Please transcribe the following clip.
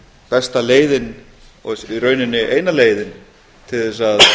besta leiðin og raunar eina leiðin til að